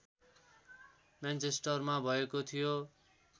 मेनचेस्टरमा भएको थियो